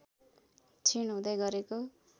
क्षीण हुँदै गरेको